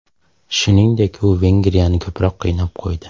Shuningdek, u Vengriyani ko‘proq qiynab qo‘ydi.